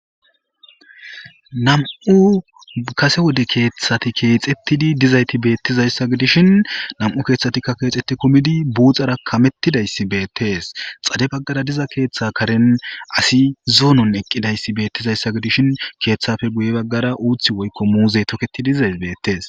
nam7u kase wode keeththati keexettidi dizayti beettizayssa gidishin nam7u keeththatikka keexxetti kumidi buuxara kamettidayssi beettees xade baggara diza keeththe karen asi zoonon eqqidayssi beettizayssa gidishin keeththafe guye baggara uuthi woykko muuzey toketii dizay beettees